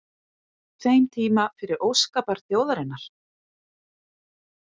þeim tíma fyrir óskabarn þjóðarinnar?